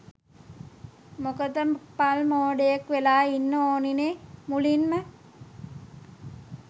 මොකද පල් මෝඩයෙක් වෙලා ඉන්න ඕනිනේ මුලින්ම.